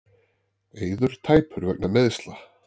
Eiður tæpur vegna meiðsla